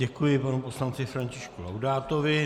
Děkuji panu poslanci Františku Laudátovi.